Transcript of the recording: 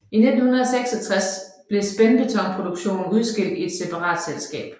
I 1966 blev spændbetonproduktionen udskilt i et separat selskab